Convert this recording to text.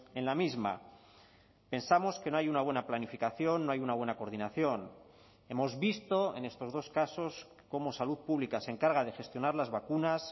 en la misma pensamos que no hay una buena planificación no hay una buena coordinación hemos visto en estos dos casos cómo salud pública se encarga de gestionar las vacunas